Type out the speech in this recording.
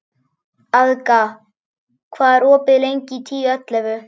Agða, hvað er opið lengi í Tíu ellefu?